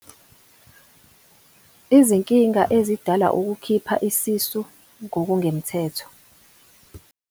Izinkinga ezidalwa ukukhipha isisu ngokungemthetho.